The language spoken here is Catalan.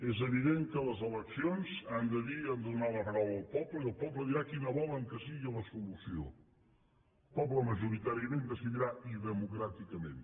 és evident que les eleccions han de dir i han de donar la paraula al poble i el poble dirà quina vol que sigui la solució el poble majoritàriament decidirà i democràticament